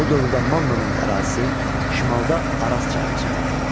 Bu dövrdə Mannanın ərazisi şimalda Araz çayına çatırdı.